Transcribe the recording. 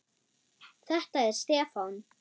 Þetta er Stefán.